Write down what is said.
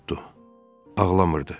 Ağlamırdı.